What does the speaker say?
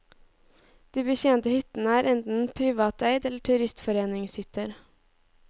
De betjente hyttene er enten privateid eller turistforeningshytter.